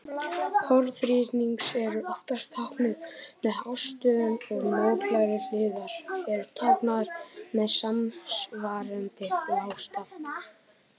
Horn þríhyrnings eru oftast táknuð með hástöfum og mótlægar hliðar eru táknaðar með samsvarandi lágstaf.